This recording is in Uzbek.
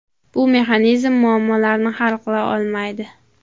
Bu mexanizm muammolarni hal qila olmaydi.